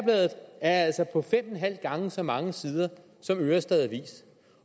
altså på fem og en halv gang så mange sider som ørestad avis